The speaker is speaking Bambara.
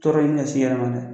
Tɔɔrɔ ɲini ka s'i yɛrɛ ma dɛ